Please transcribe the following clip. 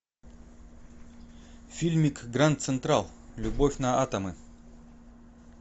фильмик гранд централ любовь на атомы